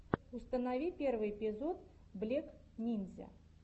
установи первый эпизод блек нинзя